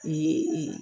O ye ee